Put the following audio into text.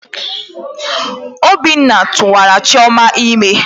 Obinna tuwara chioma ime.